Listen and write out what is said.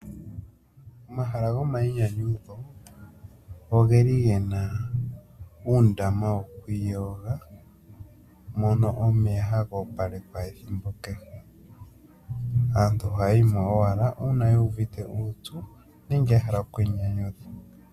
Omahala gomayinyanyudho ogeli gena uundama wo kwiiyoga, mono omeya ha gopalekwa ethimbo keshe. Aantu oha yayimo wala uuna yuuvite uupyu nenge ya hala okwii nyanyudha.